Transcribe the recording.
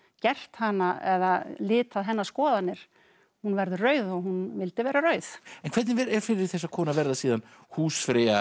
gert hana eða litað hennar skoðanir hún verður rauð og hún vildi vera rauð en hvernig er fyrir þessa konu að verða síðan húsfreyja